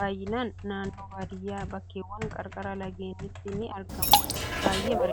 baayyinaan naannoo baadiyyaa bakkeewwan qarqara lageeniitti ni argamu. Baayyee bareeda.